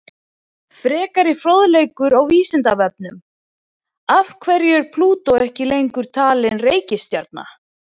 Frekari fróðleikur á Vísindavefnum: Af hverju er Plútó ekki lengur talin reikistjarna?